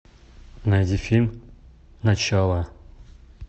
найди фильм начало